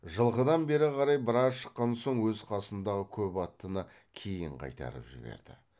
жылқыдан бері қарай біраз шыққан соң өз қасындағы көп аттыны кейін қайтарып жіберді